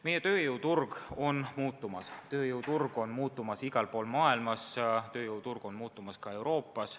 Meie tööjõuturg on muutumas – tööjõuturg on muutumas igal pool maailmas, on muutumas ka Euroopas.